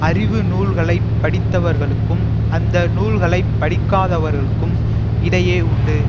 அறிவு நூல்களை படித்தவர்களுக்கும் அந்த நூல்களை படிக்காதவர்களுக்கும் இடையே உண்டு